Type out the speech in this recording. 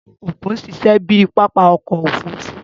Ìbùdó okùn n ṣiṣẹ bíi papa ọkọ ofurufu